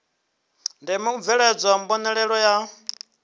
ndeme u bveledzwa mbonalelo ya